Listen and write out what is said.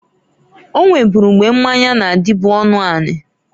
O nweburu mgbe mmanya na-adịbụ ọnụanị.